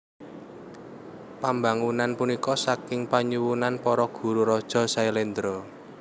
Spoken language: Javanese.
Pambangunan punika saking panyuwunan para guru raja Sailendra